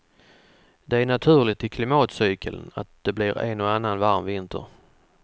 Det är naturligt i klimatcykeln att det blir en och en annan varm vinter.